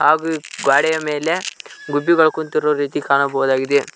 ಹಾಗು ಈ ಗ್ವಾಡೆಯ ಮೇಲೆ ಗುಬ್ಬಿಗಳ್ ಕುಂತಿರೋ ರೀತಿ ಕಾಣಬಹುದಾಗಿದೆ.